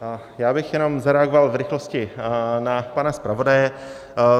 Já bych jenom zareagoval v rychlosti na pana zpravodaje.